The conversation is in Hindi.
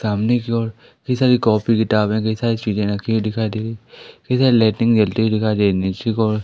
सामने की ओर कई सारी कॉपी किताबें कई सारी चीजे रखी हुई दिखाई दे रही इधर लाइटिंग जलती हुई दिखाई दे रही निचे की ओर --